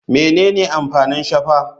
Menene amfanin shafa?